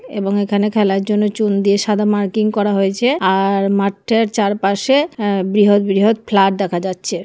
এবং এখানে খেলার জন্য চুন দিয়ে সাদা মার্কিং করা হয়েছে আর-র মাঠটার চারপাশে আ বৃহৎ বৃহৎ ফ্ল্যাট দেখা যাচ্ছে।